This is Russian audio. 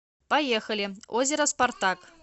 поехали озеро спартак